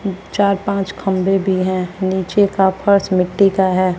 चार पांच खंबे भी हैं नीचे का फर्श मिट्टी का है।